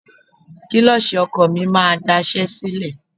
Kílọ̀ṣì ọkọ̀ mi máa daṣẹ́ sílẹ̀.